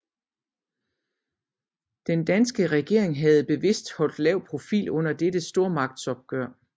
Den danske regering havde bevidst holdt lav profil under dette stormagtsopgør